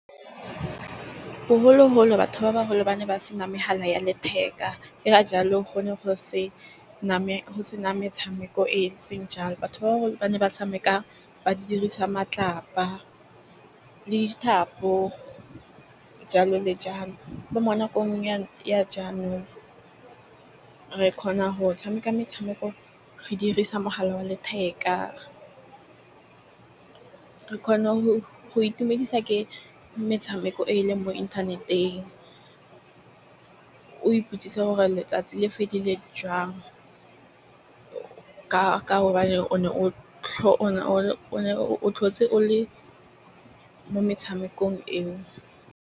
Bogologolo batho ba baholo ba ne ba se na megala ya letheka. E ka jalo go ne go se na go se na metshameko e e ntseng jalo. Batho ba ba ne ba tshameka ba dirisa matlapa le dithapo jalo le jalo. Bo mo nakong ya jaanong re kgona go tshameka metshameko re dirisa mogala wa letheka. Re kgone go itumedisa ke metshameko e e leng mo inthaneteng. O ipotsise gore letsatsi le fedile jang ka gobane o ne o o tlhotse o le mo metshamekong eo.